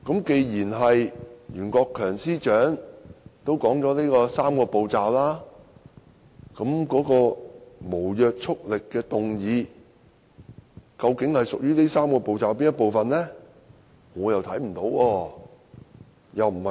既然袁司長已提到"三步走"，那麼無約束力的議案究竟屬於"三步走"中的哪一步？